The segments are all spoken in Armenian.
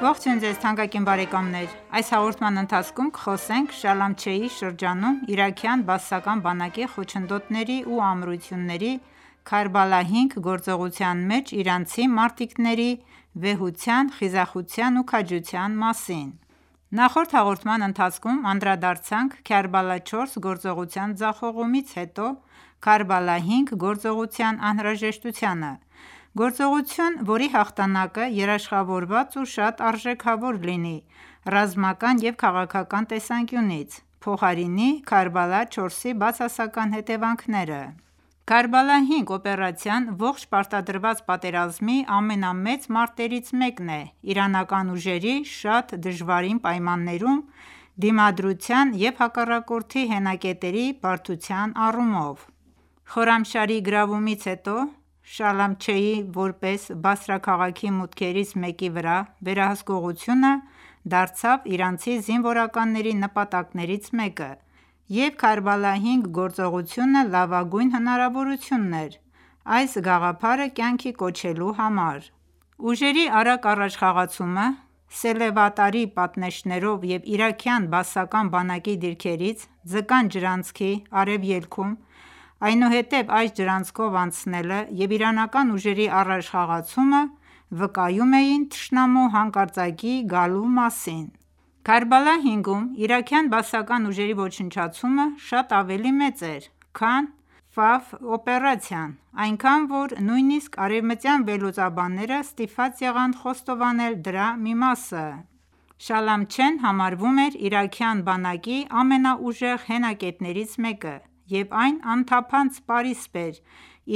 Ողջույն ձեզ թանկագին բարեկամներ: Այս հաղորդման ընթացքում կխոսենք Շալամչեի շրջանում իրաքյան բաասական բանակի խոչընդոտների ու ամրությունների, «Քարբալա -5» գործողության մեջ իրանցի մարտիկների վեհության, խիզախության ու քաջության մասին։ Նախորդ հաղորդման ընթացքում անդրադարձանք «Քարբալա -4» գործողության ձախողումից հետո, «Քարբալա-5» գործողության անհրաժեշտությանը։ Գործողություն, որի հաղթանակը երաշխավորված ու շատ արժեքավոր լինի ռազմական և քաղաքական տեսանկյունից՝ փոխարինի Քարբալա 4-ի բացասական հետևանքները։ «Քարբալա 5» օպերացիան ողջ պարտադրված պատերազմի ամենամեծ մարտերից մեկն է՝ իրանական ուժերի՝ շատ դժվարին պայմաններում դիմադրության և հակառակորդի հենակետերի բարդության առումով։ Խորամշահրի գրավումից հետո Շալամչեի՝ որպես Բասրա քաղաքի մուտքերից մեկի վրա վերահսկղությունը դարձավ իրանցի զինվորականների նպատակներից մեկը, և «Քարբալա 5» գործողությունը լավագույն հնարավորությունն էր այս գաղափարը կյանքի կոչելու համար։ Ուժերի արագ առաջխաղացումը սելավատարի պատնեշներով և իրաքյան բաասական բանակի դիրքերից «Ձկան ջրանցքի» արևելքում, այնուհետև այս ջրանցքով անցնելը և իրանական ուժերի առաջխաղացումը վկայում էին թշնամու հանկարծակիի գալու մասին։ Քարբալա 5-ում իրաքյան բաասական ուժերի ոչնչացումը շատ ավելի մեծ էր, քան «Ֆավ» օպերացիան, այնքան, որ նույնիսկ արևմտյան վերլուծաբանները ստիպված եղան խոստովանել դրա մի մասը: Շալամչեն համարվում էր իրաքյան բանակի ամենաուժեղ հենակետերից մեկը, և այն անթափանց պարիսպ էր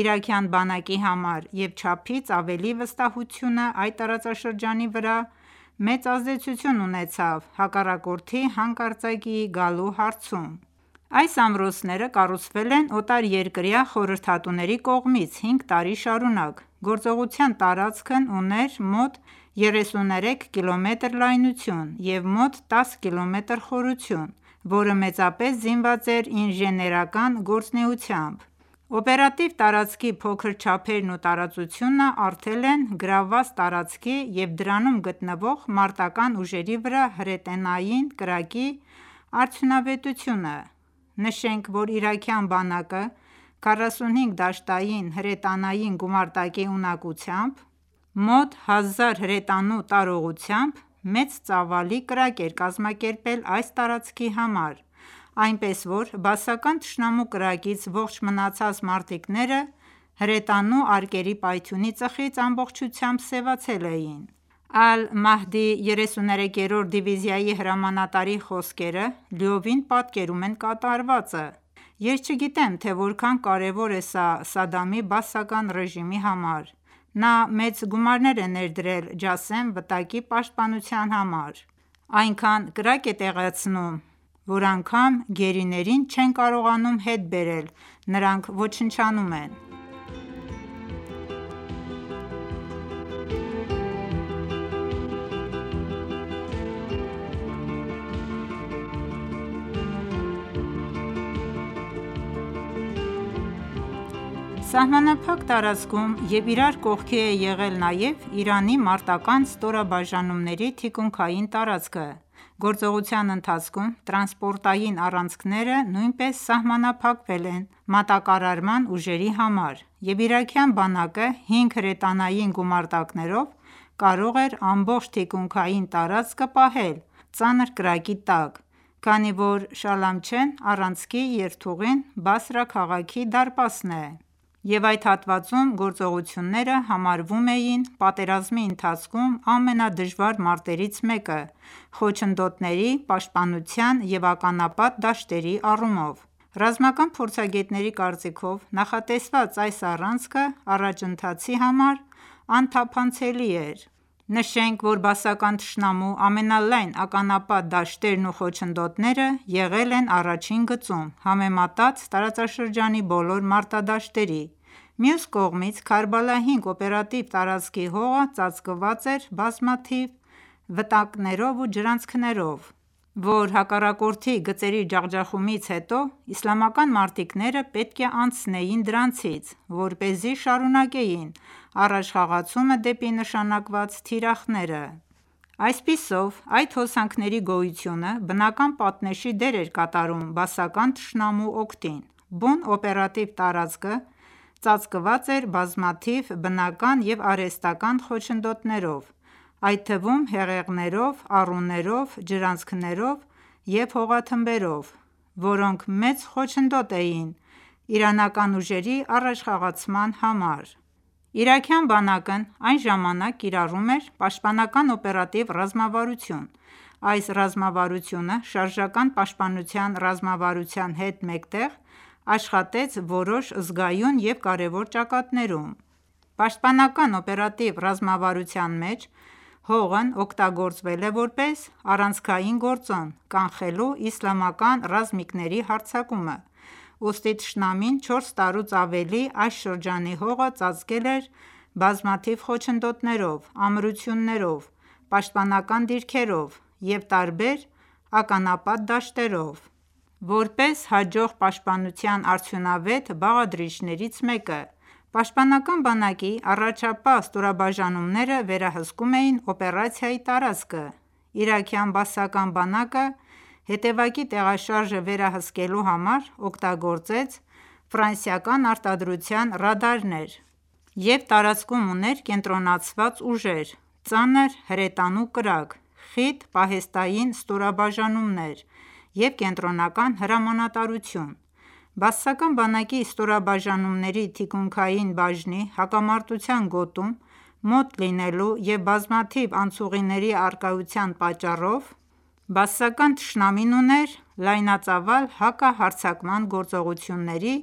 իրաքյան բանակի համար, և չափից ավելի վստահությունը, այդ տարածաշրջանի վրա, մեծ ազդեցություն ունեցավ հակառակորդի հանկարծակիի գալու հարցում։ Այս ամրոցները կառուցվել են օտարերկրյա խորհրդատուների կողմից հինգ տարի շարունակ: Գործողության տարածքն ուներ մոտ 33 կմ լայնություն և մոտ 10 կմ խորություն, որը մեծապես զինված էր ինժեներական գործունեությամբ։ Օպերատիվ տարածքի փոքր չափերն ու տարածությունը առթել են գրավված տարածքի և դրանում գտնվող մարտական ​​ուժերի վրա հրետանային կրակի արդյունավետությունը։ Նշենք, որ իրաքյան բանակը 45 դաշտային հրետանային գումարտակի ունակությամբ՝ մոտ 1000 հրետանու տարողությամբ, մեծ ծավալի կրակ էր կազմակերպել այս տարածքի համար, այնպես որ բաասական թշնամու կրակից ողջ մնացած մարտիկները հրետանու արկերի պայթյունի ծխից ամբողջությամբ սևացել էին: Ալ-Մահդի 33-րդ դիվիզիայի հրամանատարի խոսքերը, լիովին պատկերում են կատարվածը.«Ես չգիտեմ, թե որքան կարևոր է սա Սադամի Բաասական ռեժիմի համար: Նա մեծ գումարներ է ներդրել Ջասեմ վտակի պաշտպանության համար։ Այնքան կրակ է տեղացնում, որ անգամ գերիներին չեն կարողանում հետ բերել։ Նրանք ոչնչանում են…»: Սահմանափակ տարածքում և իրար կողքի է եղել նաև Իրանի մարտական​​ ստորաբաժանումների թիկունքային տարածքը։ Գործողության ընթացքում տրանսպորտային առանցքները նույնպես սահմանափակվել են մատակարարման ուժերի համար, և իրաքյան բանակը հինգ հրետանային գումարտակներով կարող էր ամբողջ թիկունքային տարածքը պահել ծանր կրակի տակ, քանի որ Շալամչեհ առանցքի երթուղին Բասրա քաղաքի դարպասն է, և այդ հատվածում գործողությունները համարվում էին պատերազմի ընթացքում ամենադժվար մարտերից մեկը՝ խոչընդոտների, պաշտպանության և ականապատ դաշտերի առումով: Ռազմական փորձագետների կարծիքով, նախատեսված այս առանցքը առաջընթացի համար անթափանցելի էր: Նշենք, որ բաասական թշնամու ամենալայն ականապատ դաշտերն ու խոչընդոտները եղել են առաջին գծում՝ համեմատած տարածաշրջանի բոլոր մարտադաշտերի։ Մյուս կողմից, Քարբալա 5 օպերատիվ տարածքի հողը ծածկված էր բազմաթիվ վտակներով ու ջրանցքներով, որ հակառակորդի գծերի ջախջախումից հետո իսլամական մարտիկները պետք է անցնեին դրանցից, որպեսզի շարունակեին առաջխաղացումը դեպի նշանակված թիրախները։ Այսպիսով, այդ հոսանքների գոյությունը բնական պատնեշի դեր էր կատարում բաասական թշնամու օգտին: Բուն օպերատիվ տարածքը ​​ծածկված էր բազմաթիվ բնական և արհեստական խոչընդոտներով, այդ թվում՝ հեղեղներով, առուներով, ջրանցքներով և հողաթմբերով, որոնք մեծ խոչընդոտ էին իրանական ուժերի առաջխաղացման համար: Իրաքյան բանակն այն ժամանակ կիրառում էր «պաշտպանական օպերատիվ ռազմավարություն»: Այս ռազմավարությունը, «շարժական պաշտպանության ռազմավարության» հետ մեկտեղ, աշխատեց որոշ զգայուն և կարևոր ճակատներում։ Պաշտպանական օպերատիվ ռազմավարության մեջ հողն օգտագործվել է որպես առանցքային գործոն՝ կանխելու իսլամական ռազմիկների հարձակումը, ուստի թշնամին 4 տարուց ավելի այս շրջանի հողը ծածկել էր բազմաթիվ խոչընդոտներով, ամրություններով, պաշտպանական դիրքերով և տարբեր ականապատ դաշտերով՝ որպես հաջող պաշտպանության արդյունավետ բաղադրիչներից մեկը։ ՊԲ առաջապահ ստորաբաժանումները վերահսկում էին օպերացիայի տարածքը. Իրաքյան բաասական բանակը հետևակի տեղաշարժը վերահսկելու համար օգտագործեց ֆրանսիական արտադրության ռադարներ և տարածքում ուներ կենտրոնացված ուժեր, ծանր հրետանու կրակ, խիտ պահեստային ստորաբաժանումներ և կենտրոնական հրամանատարություն: Բաասական բանակի ստորաբաժանումների թկունքային բաժնի՝ հակամարտության գոտում մոտ լինելու և բազմաթիվ անցուղիների առկայության պատճառով բաասական թշնամին ուներ լայնածավալ հակահարձակման գործողությունների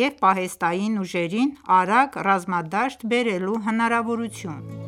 և պահեստային ուժերին արագ ռազմադաշտ բերելու հնարավորությունը։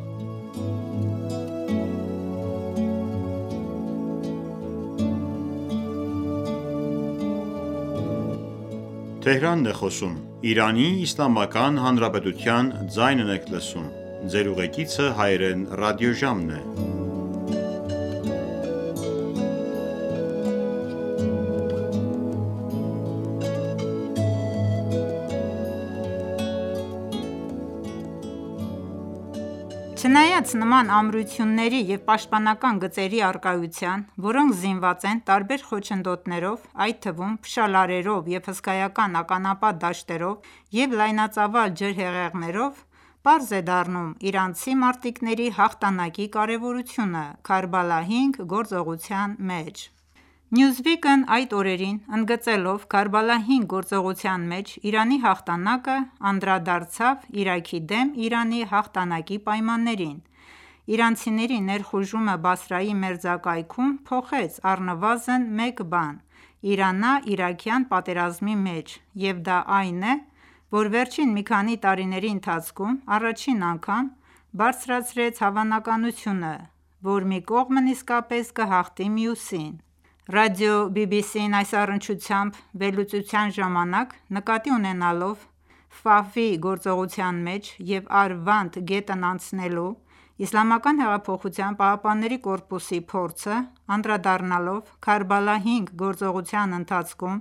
Չնայած նման ամրությունների և պաշտպանական գծերի առկայության, որոնք զինված են տարբեր խոչընդոտներով, այդ թվում՝ փշալարերով և հսկայական ականապատ դաշտերով և լայնածավալ ջրհեղեղներով, պարզ է դառնում իրանցի մարտիկների հաղթանակի կարևորությունը Քարբալա-5 գործողության մեջ: Newsweek-ն այդ օրերին, ընդգծելով «Քարբալա 5» գործողության մեջ Իրանի հաղթանակը, անդրադարձավ Իրաքի դեմ Իրանի հաղթանակի պայմաններին.-«Իրանցիների ներխուժումը Բասրայի մերձակայքում փոխեց առնվազն մեկ բան Իրանա-իրաքյան պատերազմի մեջ, և դա այն է, որ վերջին մի քանի տարիների ընթացքում առաջին անգամ բարձրացրեց հավանականությունը, որ մի կողմն իսկապես կհաղթի մյուսին»: Ռադիո BBC-ն այս առնչությամբ վերլուծության ժամանակ, նկատի ունենալով Ֆավի գործողության մեջ և Արվանդ գետն անցնելու ԻՀՊԿ-ի փորձը, անդրադառնալով «Քարբալա 5» գործողության ընթացքում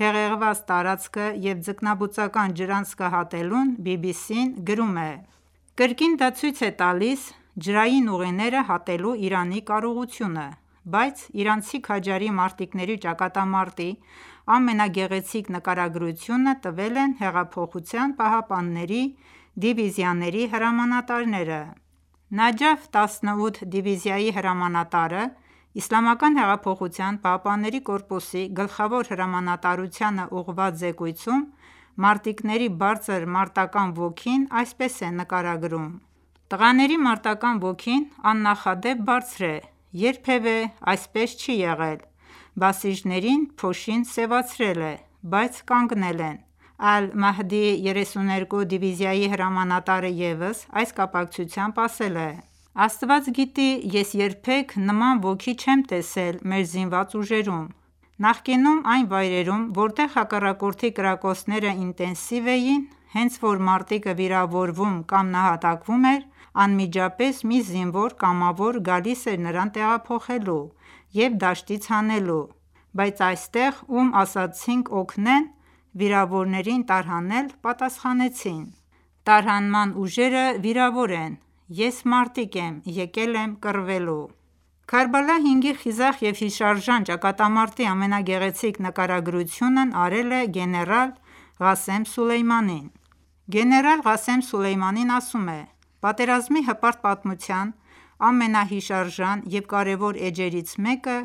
հեղեղված տարածքը և ձկնաբուծական ջրանցքը հատելուն, BBC-ն ասաց. «Կրկին դա ցույց է տալիս ջրային ուղիները հատելու Իրանի կարողությունը»: Բայց իրանցի քաջարի մարտիկների ճակատամարտի ամենագեղեցիկ նկարագրությունը տվել են Հեղափոխության պահապանների դիվիզիաների հրամանատարները։ Նաջաֆ 18 դիվիզիայի հրամանատարը ԻՀՊԿ-ի գլխավոր հրամանատարությանը ուղղված զեկույցում մարտիկների բարձր մարտական ոգին այսպես է նկարագրում.«Տղաների մարտական ոգին աննախադեպ բարձր է: Երբևէ այսպես չի եղել, բասիջիներին փոշին սեւացրել է, բայց կանգնել են»: Ալ-Մահդի 32 դիվիզիայի հրամանատրը ևս այս կապակությամբ ասել է.«Աստված գիտի, ես երբեք նման ոգի չեմ տեսել մեր զինված ուժերում... Նախկինում այն ​​վայրերում, որտեղ հակառակորդի կրակոցները ինտենսիվ էին, հենց որ մարտիկը վիրավորվում կամ նահատակվում էր, անմիջապես մի զինվոր կամավոր գալիս էր նրան տեղափոխելու և դաշտից հանելու, բայց այստեղ ում ասացինք օգնեն վիրավորներին տարհանել, պատասխանեցին՝ տարհանման ուժերը վիրավոր են, ես մարտիկ եմ, եկել եմ կռվելու»: Քարբալա 5-ի խիզախ և հիշարժան ճակատամարտի ամենագեղեցիկ նկարագրությունն արել է գեներալ Ղասեմ Սոլեյմանին։ Գեներալ Ղասեմ Սոլեյմանին ասում է.«Պատերազմի հպարտ պատմության ամենահիշարժան և կարևոր էջերից մեկը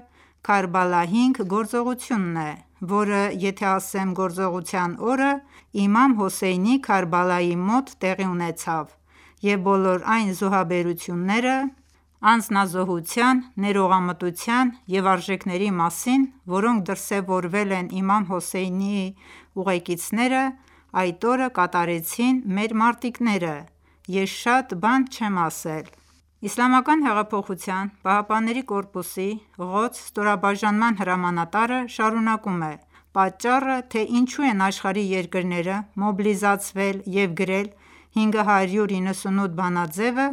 «Քարբալա 5» գործողությունն է, որը, եթե ասեմ գործողության օրը, Իմամ Հոսեյնի Քարբալայի մոտ տեղի ունեցավ և բոլոր այն զոհաբերությունները, անձնազոհության, ներողամտության և արժեքների մասին, որոնք դրսևորվել են Իմամ Հոսեյնի ուղեկիցները այդ օրը կատարեցին մեր մարտիկները ես շատ բան չեմ ասել: ԻՀՊԿ-ի Ղոդս ստորաբաժանման հրամանատարը շարունակեց.«Պատճառը, թե ինչու են աշխարհի երկրները մոբիլիզացվել և գրել 598 բանաձեւը,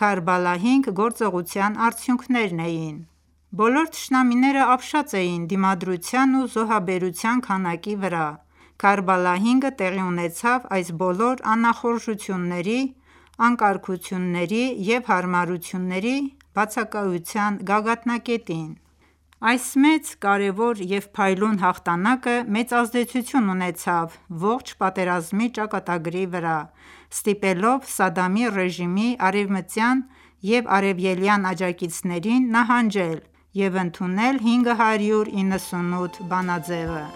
Քարբալա 5 գործողության արդյունքներն էին: Բոլոր թշնամիները ապշած էին դիմադրության ու զոհաբերության քանակի վրա։ Քարբալա 5-ը տեղի ունեցավ այս բոլոր անախորժությունների, անկարգությունների և հարմարությունների բացակայության գագաթնակետին»: Այս մեծ, կարևոր և փայլուն հաղթանակը մեծ ազդեցություն ունեցավ ողջ պատերազմի ճակատագրի վրա՝ ստիպելով Սադամի ռեժիմի արևմտյան և արևելյան աջակիցներին նահանջել և ընդունել 598 բանաձևը։